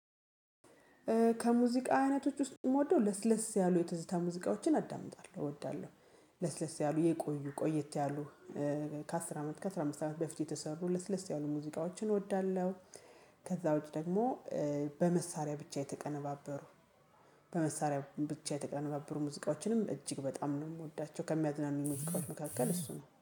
ከሙዚቃ አይነቶች ውስጥ የምወደው ለስለስ ያሉ የትዝታ ሙዚቃዎችን አዳምጣለሁ እወዳለሁ። ለስለስ ያሉ የቆዩ ቆያት ያሉ ከአስር አመት ከአሥራ አምስት አመት በፊት የተሰሩ ለስለስ ያሉ ሙዚቃዎችን እወዳለሁ። ከዛ ውጪ ደግሞ በመሳሪያ ብቻ የተቀነባበሩ በመሳሪያ ብቻ የተቀነባበሩ ሙዚቃዎችንም እጅግ በጣም ነው የምወዳቸው ከሚያዝናኑ ሙዚቃዎች መካከል እሱ ነው